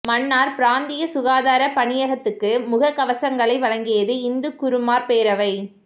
மன்னார் பிராந்திய சுகாதாரப் பணியகத்துக்கு முகக் கவசங்களை வழங்கியது இந்து குருமார் பேரவை